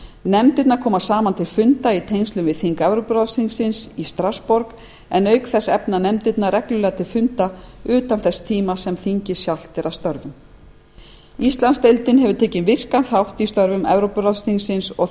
nefndirnar koma saman til funda í tengslum við þing evrópuráðsþingsins í strassborg en auk þess efna nefndirnar reglulega til funda utan þess tíma sem þingið sjálft er að störfum íslandsdeildin hefur tekið virkan þátt í störfum evrópuráðsþingsins og